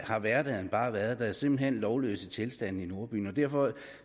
har hverdagen bare været der er simpelt hen lovløse tilstande i nordbyen derfor